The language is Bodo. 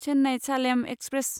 चेन्नाइ सालेम एक्सप्रेस